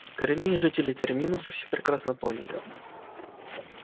коренные жители терминуса все прекрасно поняли